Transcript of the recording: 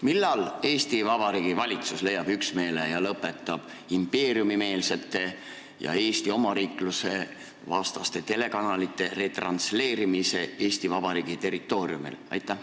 Millal Eesti Vabariigi valitsus leiab üksmeele ja lõpetab impeeriumimeelsete ja Eesti omariikluse vastaste telekanalite retransleerimise Eesti Vabariigi territooriumil?